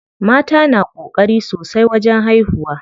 Mata na ƙokari sosai wajen haihuwa.